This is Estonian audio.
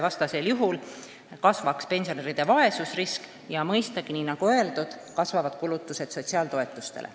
Vastasel juhul kasvaks pensionäride vaesusrisk ja mõistagi, nagu öeldud, kasvaksid ka kulutused sotsiaaltoetusteks.